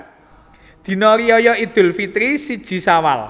Dina Riyaya Idul Fitri siji Syawal